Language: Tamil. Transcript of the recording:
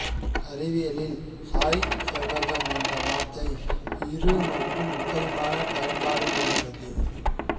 அறிவியலில் சாய்செவ்வகம் என்ற வார்த்தை இரு மற்றும் முப்பரிமாண பயன்பாடு கொண்டுள்ளது